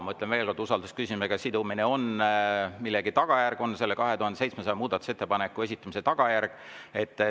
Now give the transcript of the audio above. Ma ütlen veel kord: usaldusküsimusega sidumine on millegi tagajärg, on selle 2700 muudatusettepaneku esitamise tagajärg.